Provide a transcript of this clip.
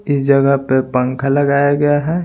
इस जगह पर पंखा लगाया गया है।